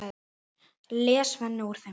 les Svenni úr þeim.